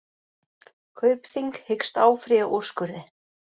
Kaupþing hyggst áfrýja úrskurði